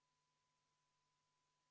Panen muudatusettepaneku nr 2 hääletusele.